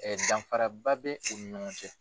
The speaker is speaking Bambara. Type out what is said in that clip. danfara ba bɛ u ni ɲɔgɔn cɛ.